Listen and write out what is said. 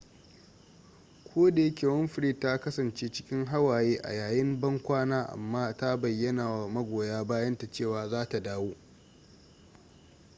kodayake winfrey ta kasance cikin hawaye a yayin ban kwana amma ta bayyana wa magoya bayanta cewa za ta dawo